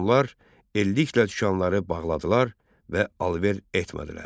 Onlar eldiklə dükanları bağladılar və alış-veriş etmədilər.